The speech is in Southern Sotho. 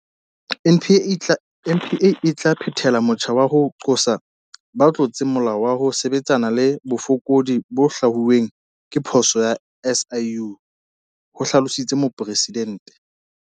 NPA e tla phethela motjha wa ho qosa ba tlotseng molao le ho sebetsana le bofokodi bo hlwauweng ke phuputso ya SIU, ho hlalositse Presidente.